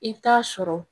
I bɛ taa sɔrɔ